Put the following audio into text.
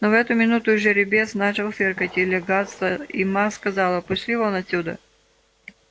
но в эту минуту жеребец начал фыркать и лягаться и ма сказала пошли вон отсюда